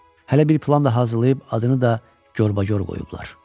Hələ bir plan da hazırlayıb adını da gorbagor qoyublar.